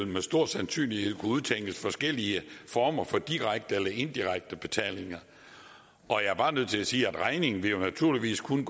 med stor sandsynlighed vil kunne udtænkes forskellige former for direkte eller indirekte betaling og jeg er bare nødt til sige at regningen naturligvis kun